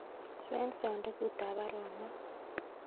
Swen sandugut ab baruonok